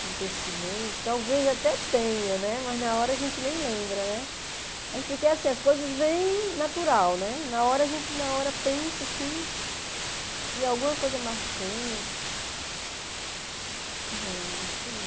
Algum acontecimento, talvez até tenha, mas na hora a gente nem lembra, porque as coisas vêm natural, né na hora a gente na hora pensa assim que alguma coisa marcante, não, acho que não.